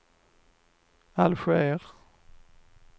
Alger